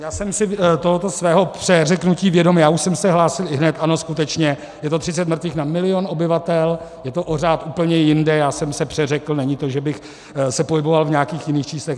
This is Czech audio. Já jsem si tohoto svého přeřeknutí vědom, já už jsem se hlásil ihned, ano, skutečně, je to 30 mrtvých na milion obyvatel, je to o řád úplně jinde, já jsem se přeřekl, není to, že bych se pohyboval v nějakých jiných číslech.